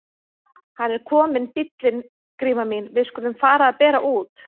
Hann er kominn bíllinn Gríma mín, við skulum fara að bera út.